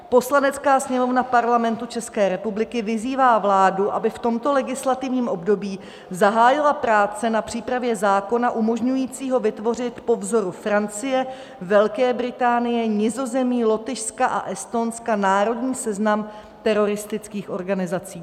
Poslanecká sněmovna Parlamentu České republiky vyzývá vládu, aby v tomto legislativním období zahájila práce na přípravě zákona umožňujícího vytvořit po vzoru Francie, Velké Británie, Nizozemí, Lotyšska a Estonska národní seznam teroristických organizací.